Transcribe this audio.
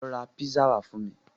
Lọ ra písà wá fún mi.